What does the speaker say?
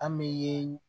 An bɛ ye